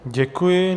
Děkuji.